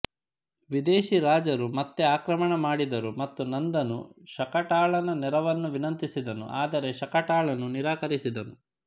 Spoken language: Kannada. ವಿದೇಶಿ ರಾಜರು ಮತ್ತೆ ಆಕ್ರಮಣ ಮಾಡಿದರು ಮತ್ತು ನಂದನು ಶಕಟಾಲನ ನೆರವನ್ನು ವಿನಂತಿಸಿದನು ಆದರೆ ಶಕಟಾಲನು ನಿರಾಕರಿಸಿದನು